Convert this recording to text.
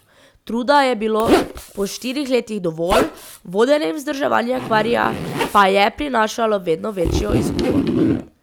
Truda je bilo po štirih letih dovolj, vodenje in vzdrževanje akvarija pa je prinašalo vedno večjo izgubo.